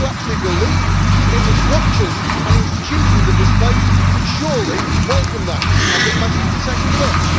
And those who actually believe in the structures and institutions of this place should surely welcome that. I think my 60 seconds is up!